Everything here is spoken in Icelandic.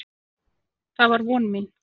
Það var von mín.